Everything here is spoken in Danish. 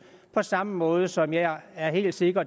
på samme måde som jeg er helt sikker